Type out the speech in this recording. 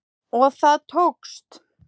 Og það tókst